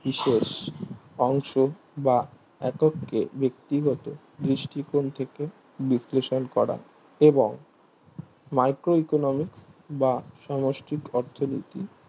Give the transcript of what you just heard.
বিশেষ অংশ বা এককে বেক্তিগত দৃষ্টিকোণ থেকে বিশ্লেষণ করা এবং micro economics বা সমষ্টিক অর্থনীতি